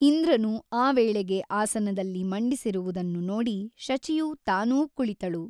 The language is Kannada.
ಇಂದ್ರನು ಆ ವೇಳೆಗೆ ಆಸನದಲ್ಲಿ ಮಂಡಿಸಿರುವುದನ್ನು ನೋಡಿ ಶಚಿಯು ತಾನೂ ಕುಳಿತಳು.